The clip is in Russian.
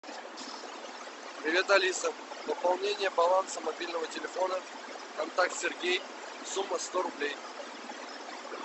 привет алиса пополнение баланса мобильного телефона контакт сергей сумма сто рублей